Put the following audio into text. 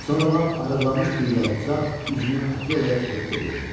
Sonra lap arıqlamış bir yalquzaq üzünü Akelaya tutub dedi.